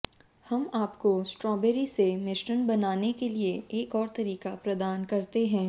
हम आपको स्ट्रॉबेरी से मिश्रण बनाने के लिए एक और तरीका प्रदान करते हैं